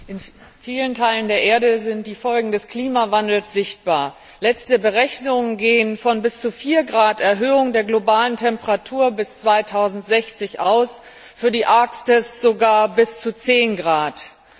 In vielen Teilen der Erde sind die Folgen des Klimawandels sichtbar. Letzte Berechnungen gehen von bis zu 4°C Erhöhung der globalen Temperatur bis 2060 aus, für die Arktis sogar bis zu 10°C.